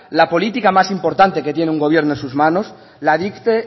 la política más importante que tiene un gobierno en sus manos la dicte